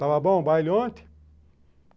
Estava bom o baile ontem?